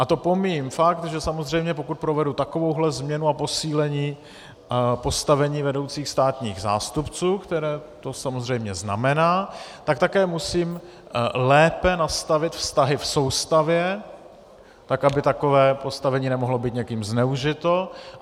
A to pomíjím fakt, že samozřejmě pokud provedu takovouhle změnu a posílení postavení vedoucích státních zástupců, které to samozřejmě znamená, tak také musím lépe nastavit vztahy v soustavě, tak aby takové postavení nemohlo být někým zneužito.